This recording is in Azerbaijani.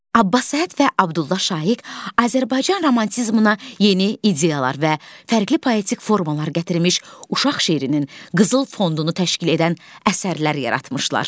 Abbas Səhhət və Abdullah Şaiq Azərbaycan romantizminə yeni ideyalar və fərqli poetik formalar gətirmiş uşaq şeirinin qızıl fonduğunu təşkil edən əsərlər yaratmışlar.